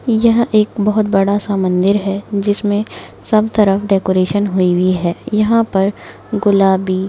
यह एक बहुत बडासा मंदिर हैं जिसमे सब तरफ डेकोरेशन हुई वुई हैं यहा पर गुलाबी--